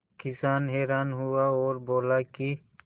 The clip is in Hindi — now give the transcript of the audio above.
किसान हैरान हुआ और बोला कि